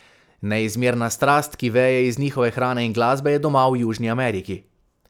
Neizmerna strast, ki veje iz njihove hrane in glasbe, je doma v Južni Ameriki.